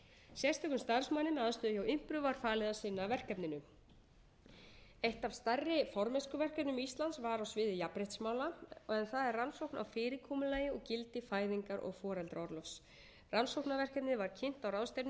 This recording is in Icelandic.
sérstökum starfsmanni með aðstöðu hjá impru var falið að sinna verkefninu eitt af stærri formennskuverkefnum íslands var á sviði jafnréttismála en það er rannsókn á fyrirkomulagi og gildi fæðingar og foreldraorlofs rannsóknarverkefnið var kynnt á ráðstefnu